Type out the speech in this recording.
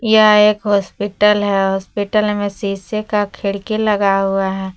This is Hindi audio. यह एक हॉस्पिटल है हॉस्पिटल में शीशे का खिड़की लगा हुआ है।